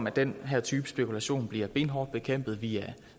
at den her type spekulation bliver benhårdt bekæmpet via